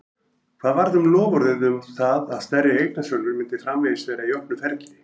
Hvað varð um loforðið um það að stærri eignasölur myndu framvegis vera í opnu ferli?